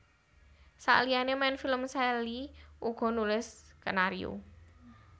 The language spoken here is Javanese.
Saliyané main film Sally uga nulis skenario